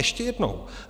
Ještě jednou.